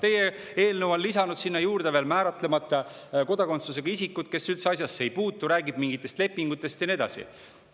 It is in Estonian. Teie eelnõus on lisatud sinna juurde veel määratlemata kodakondsusega isikud, kes üldse asjasse ei puutu, see räägib mingitest lepingutest ja nii edasi.